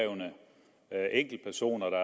er løsrevne enkeltpersoner der